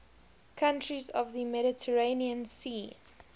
countries of the mediterranean sea